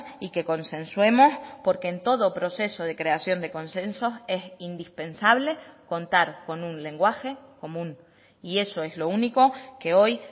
y que consensuemos porque en todo proceso de creación de consensos es indispensable contar con un lenguaje común y eso es lo único que hoy